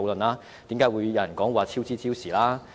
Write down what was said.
為何有人說超支超時？